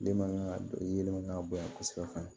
Den man kan ka yeelen kan ka bonya kosɛbɛ